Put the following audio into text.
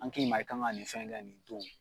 An k'i ma i kan ka nin fɛn kɛ nin don